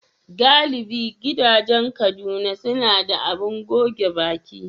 Galibi gidajen Kaduna suna da abin goge baki.